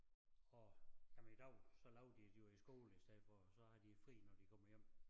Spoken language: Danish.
Og jamen i dag så laver de det jo i æ skole i stedet for og så har de fri når de kommer hjem